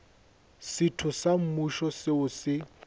setho sa mmušo seo se